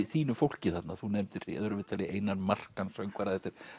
þínu fólki þarna þú nefndir í öðru viðtali Einar Markan söngvara